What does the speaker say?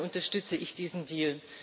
Insofern unterstütze ich diesen Deal.